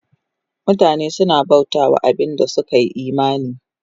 Mutane suna bauta wa abin da suka yi imani